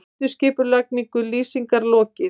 Endurskipulagningu Lýsingar lokið